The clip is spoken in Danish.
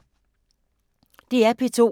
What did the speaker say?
DR P2